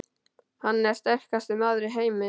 Hann er sterkasti maður í heimi!